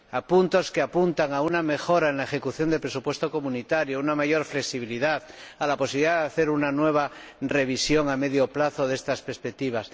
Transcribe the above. puntos que apuntan a una mejora en la ejecución del presupuesto comunitario, a una mayor flexibilidad y a la posibilidad de hacer una nueva revisión a medio plazo de estas perspectivas.